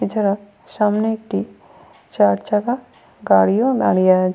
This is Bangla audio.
এছাড়া সামনে একটি চারচাকা গাড়ি ও দাঁড়িয়ে আ--